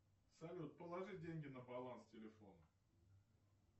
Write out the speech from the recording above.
салют положи деньги на баланс телефона